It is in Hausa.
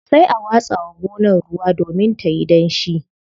Sai a watsa wa gonar ruwa domin tayi danshi.